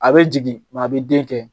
A bɛ jigin a bɛ den kɛ.